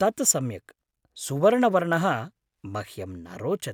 तत् सम्यक्, सुवर्णवर्णः मह्यं न रोचते।